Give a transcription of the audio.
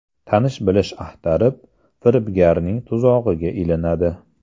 Tanish-bilish axtarib, firibgarning tuzog‘iga ilinadi.